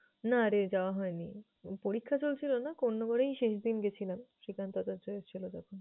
না রে, যাওয়া হয়নি পরীক্ষা চলছিল না, কোন্নগরেই শেষদিন গেছিলাম শ্রীকান দাদার ছিলো যখন।